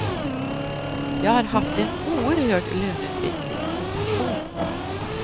Jag har haft en oerhörd löneutveckling som person.